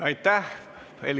Aitäh!